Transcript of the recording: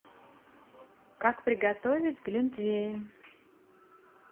как приготовить глинтвейн